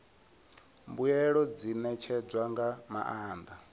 mbuelo dzi ṋetshedzwa nga maanḓa